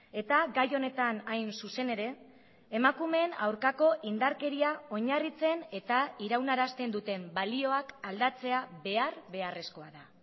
eta gai honetan hain zuzen ere emakumeen aurkako indarkeria oinarritzen eta iraunarazten duten balioak aldatzea behar beharrezkoa da